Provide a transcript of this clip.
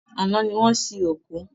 Àná ní wọ́n sin òkú.